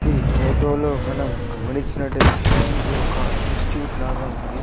ఈ ఫోటో లో మనం గమనించినట్లు అయితే ఇది ఒక ఇన్స్టిట్యూట్ లాగా ఉంది.